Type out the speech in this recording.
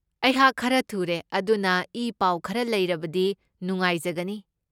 ꯑꯩꯍꯥꯛ ꯈꯔ ꯊꯨꯔꯦ ꯑꯗꯨꯅ ꯏꯄꯥꯎ ꯈꯔ ꯂꯩꯔꯕꯗꯤ ꯅꯨꯉꯍꯥꯏꯖꯒꯅꯤ꯫